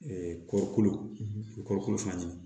kɔɔrikolo fana